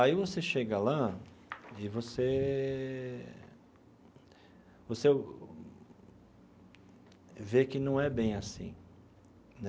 Aí você chega lá e você você vê que não é bem assim né.